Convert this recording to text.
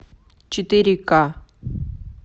четыре ка